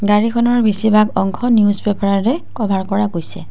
গাড়ীখনৰ বেছিভাগ অংশ নিউজ পেপাৰেৰে কভাৰ কৰা গৈছে।